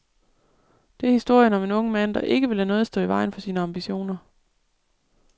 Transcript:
Det er historien om en ung mand, der ikke vil lade noget stå i vejen for sine ambitioner.